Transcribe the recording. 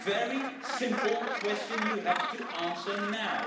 A very simple question you have to answer now.